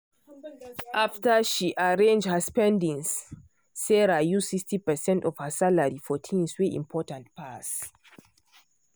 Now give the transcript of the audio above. after she arrange her spendings sarah use 60 percent of her salary for things wey important pass.